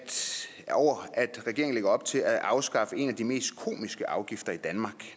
regeringen lægger op til at afskaffe en af de mest komiske afgifter i danmark